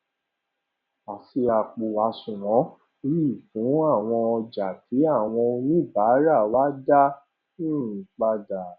a ṣí àpò àṣùwòn yìí fún àwọn ọjà tí àwọn oníbàárà wa dá um padà